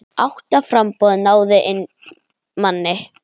Átta framboð náðu inn manni.